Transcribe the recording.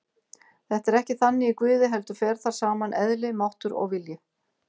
Þetta er ekki þannig í Guði heldur fer þar saman eðli, máttur og vilji.